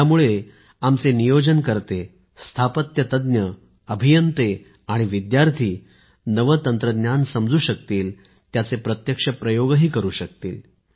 यामुळे आमचे गृहनिर्माण नियोजनकर्ते स्थापत्यतज्ञ अभियंते आणि विद्यार्थी नवे तंत्रज्ञान समजू शकतील आणि त्याचे प्रत्यक्ष प्रयोगही करु शकतील